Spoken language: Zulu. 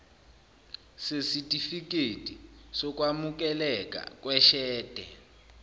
sesitifikedi sokwamukeleka kweshede